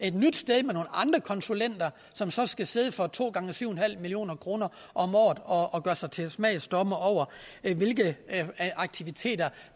et nyt sted med nogle andre konsulenter som så skal sidde for to gange syv million kroner om året og og gøre sig til smagsdommere over hvilke aktiviteter